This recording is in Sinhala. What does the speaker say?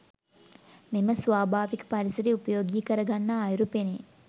මෙම ස්වාභාවික පරිසරය උපයෝගී කරගන්නා අයුරු පෙනේ.